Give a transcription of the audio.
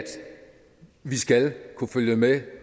vi skal kunne følge med